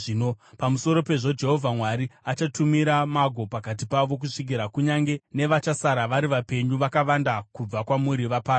Pamusoro pezvo Jehovha Mwari achatumira mago pakati pavo kusvikira kunyange nevachasara vari vapenyu vakavanda kubva kwamuri vaparadzwa.